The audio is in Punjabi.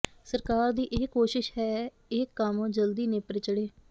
ਸਰਕਾਰ ਦੀ ਇਹ ਕੋਸ਼ਿਸ਼ ਹੈ ਇਹ ਕੰਮ ਜਲਦੀ ਨੇਪਰੇ ਚੜ੍ਹੇ